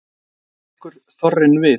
Þá tekur þorrinn við.